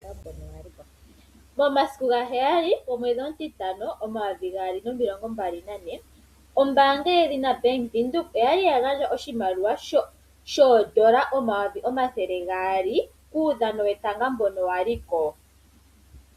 Momasiku ga 07. O5. 2024, ombaanga yedhina Bank Windhoek, oya li ya gandja oshimaliwa shoondola N$ 200.000.00, kuudhano wetanga mbono wa li ko.